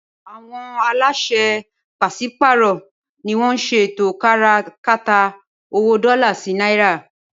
Awòn àláṣè pàṣipàárọ niwòn ṣé étó kàrá kàtá ówó dòlá si Nàirá